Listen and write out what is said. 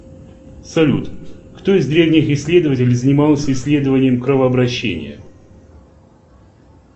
салют кто из древних исследователей занимался исследованием кровообращения